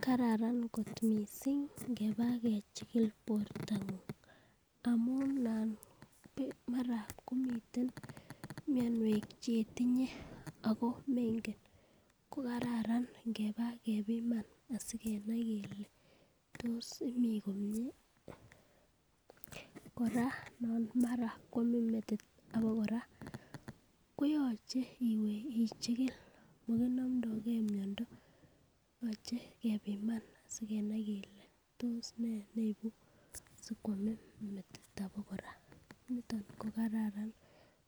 Kararan kot missing ngeba kechikil bortangung amun nan mara komiten mionwek chetinye ako menken ko kararan ngeba kepima asikenai kele tos imii komie. Koraa nan mara kwomin metit bakoraa koyoche iwee ichikil mokinomdogee miondo yoche kepima sikenei kele tos nee neibu sokwomin metit abakoraa niton ko kararan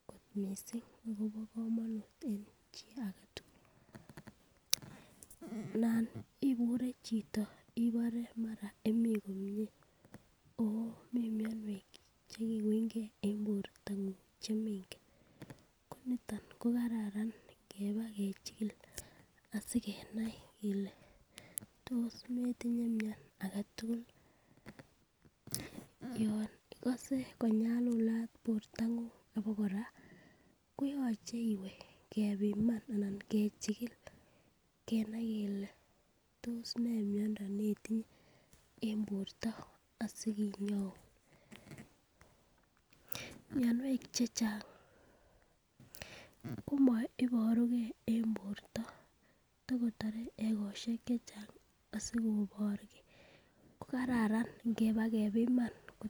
ko missing akobo komonut en chii agetutul, nan ibure chito ibore mara imii komie omii mionwek chekiwungee en bortangung omengen ko niton ko kararan ngeba kochikil sikenai kele tos meyinye miony agetutuk ,yo. Ikose. Konyalat bortangung abakoraa koyoche iwee kepiman anan kechikil kenai kele tos nee miondo netinye en borto asikinyoun. Mionwek chechang komoiboruges en borto tokotore ekoshek chechang asikoboegee ko kararan ingebekepima .